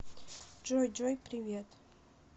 джой джой привет